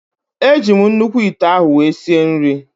Eji m nnukwu ite ahụ wee sie nrị